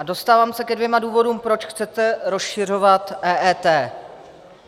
A dostávám se ke dvěma důvodům, proč chcete rozšiřovat EET.